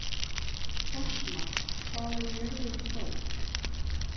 Fossmar, hvað er jörðin stór?